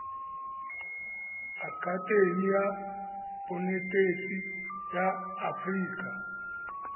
akatemi ya bonetetshi ya aforika